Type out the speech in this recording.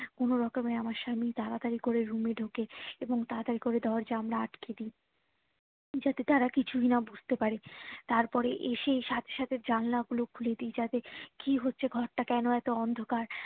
কোনো রকমে আমার স্বামী তাড়াতাড়ি করে room এ ঢুকে এবং তাত্তাড়ি করে দরজা জানলা আটকে দিয়ে যাতে তারা কিছুই না বুঝতে পারে তারপরে এসেই সাথে সাথে জানালা গুলো খুলে দি যাতে কি হচ্ছে ঘরটা কেনো এতো অন্ধকার